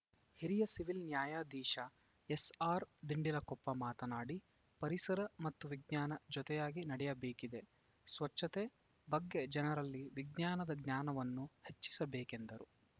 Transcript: ಹಿರಿಯ ಸಿವಿಲ್‌ ನ್ಯಾಯಾಧೀಶ ಎಸ್‌ಆರ್‌ದಿಂಡಲಕೊಪ್ಪ ಮಾತನಾಡಿ ಪರಿಸರ ಮತ್ತು ವಿಜ್ಞಾನ ಜೊತೆಯಾಗಿ ನಡೆಯಬೇಕಿದೆ ಸ್ವಚ್ಛತೆ ಬಗ್ಗೆ ಜನರಲ್ಲಿ ವಿಜ್ಞಾನದ ಜ್ಞಾನವನ್ನು ಹೆಚ್ಚಿಸಬೇಕೆಂದರು